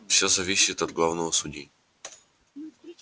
всё зависит от главного судьи